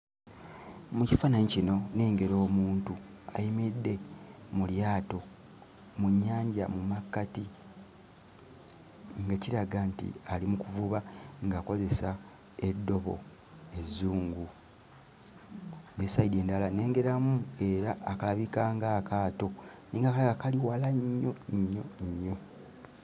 Mu kifaananyi kino, nnengera omuntu ayimiridde mu lyato mu nnyanja mu makkatoi nga kiraga nti ali mu kuvuba ng'akozesa eddobo ezzungu. Ne sayidi endala nnengeramu era akalabika nga akaato naye nga kalabika kali wala nnyo nnyo nnyo.